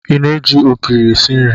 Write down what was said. Ị na-eji ogiri esi nri?